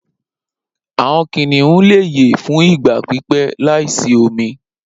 Awọn kiniun le ye fun igba pipẹ laisi omi.